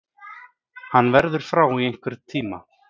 Hann verður frá í einhvern tíma.